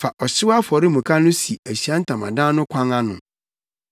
“Fa ɔhyew afɔremuka no si Ahyiae Ntamadan no kwan ano.